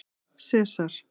Sesar